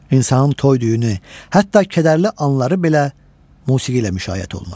İnsanın toy-düyünü, hətta kədərli anları belə musiqi ilə müşayiət olunur.